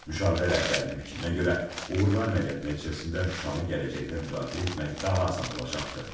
Müşavirə rəhbərinin fikrinə görə uğurlu əməliyyat nəticəsində Şuşanı gələcəkdə müdafiə etmək daha asan olacaqdı.